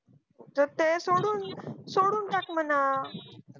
ते ते सोडून ताक म्हणावं